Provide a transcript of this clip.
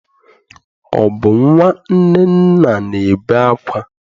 Ọ bụ nnwa Nnenna na-ebe akwa?